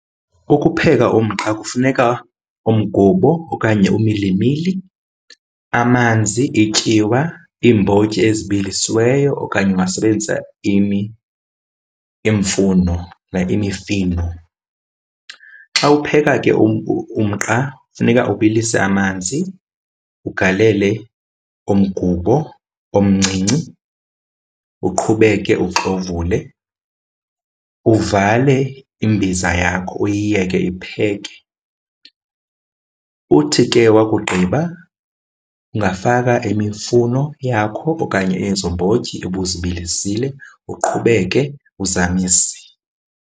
Ukupheka umqa kufuneka umgubo okanye umilimili, amanzi, ityiwa, iimbotyi ezibilisiweyo okanye ungasebenzisa iimfuno like imifino. Xa upheka ke umqa funeka ubilise amanzi, ugalele umgubo omncinci, uqhubeke uxovule. Uvale imbiza yakho uyiyeke ipheke. Uthi ke wakugqiba ungafaka imifuno yakho okanye ezo mbotyi ubuzibilisile, uqhubeke uzamise.